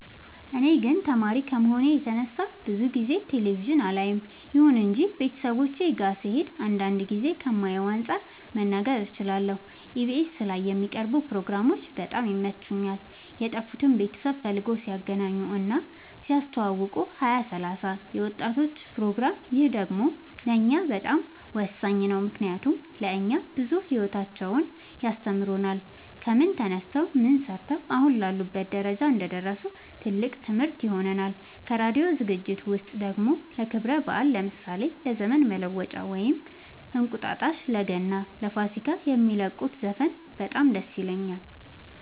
እኔ ግን ተማሪ ከመሆኔ የተነሳ ብዙ ጊዜ ቴሌቪዥን አላይም ይሁን እንጂ ቤተሰቦቼ ጋ ስሄድ አንዳንድ ጊዜ ከማየው አንፃር መናገር እችላለሁ ኢቢኤስ ላይ የሚቀርቡ ፕሮግራሞች በጣም ይመቹኛል የጠፉትን ቤተሰብ ፈልገው ሲያገናኙ እና ሲያስተዋውቁ ሀያ ሰላሳ የወጣቶች ፕሮግራም ይህ ደግሞ ለእኛ በጣም ወሳኝ ነው ምክንያቱም ለእኛ ብዙ ሂወታቸውን ያስተምሩናል ከምን ተነስተው ምን ሰርተው አሁን ላሉበት ደረጃ እንደደረሱ ትልቅ ትምህርት ይሆነናል ከራዲዮ ዝግጅት ውስጥ ደግሞ ለክብረ በአል ለምሳሌ ለዘመን መለወጫ ወይም እንቁጣጣሽ ለገና ለፋሲካ የሚለቁት ዘፈን በጣም ደስ ይለኛል